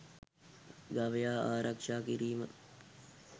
ගවයා ආරක්ෂා කිරීම